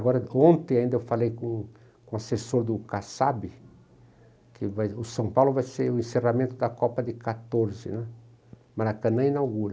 Agora, ontem ainda eu falei com o com o assessor do Kassab, que ele vai, o São Paulo vai ser o encerramento da Copa de quatorze né, Maracanã inaugura.